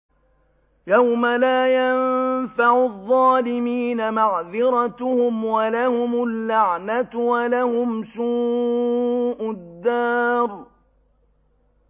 يَوْمَ لَا يَنفَعُ الظَّالِمِينَ مَعْذِرَتُهُمْ ۖ وَلَهُمُ اللَّعْنَةُ وَلَهُمْ سُوءُ الدَّارِ